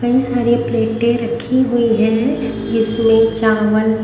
कही सारी प्लेटें रखी हुई है इसमें चावल--